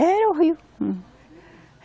Era o rio. Hum.